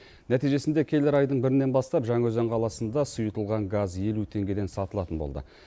нәтижесінде келер айдың бірінен бастап жаңаөзен қаласында сұйытылған газ елу теңгеден сатылатын болды